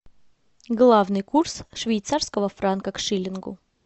главный курс швейцарского франка к шиллингу